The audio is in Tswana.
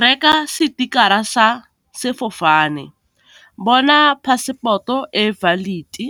Reka sepikara sa sefofane, bona passport-o e valid-i,